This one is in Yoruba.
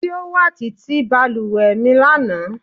Ti o wa titi baluwe mi lana